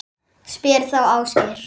Spyr þá Ásgeir.